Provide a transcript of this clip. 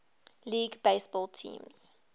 league baseball teams